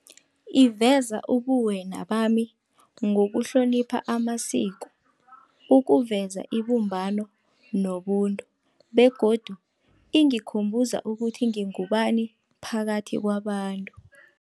Iveza ubuwena bami, ngokuhlonipha amasiko, ukuveza ibumbano nobuntu. Begodu ingikhumbuza ukuthi ngingubani phakathi kwabantu.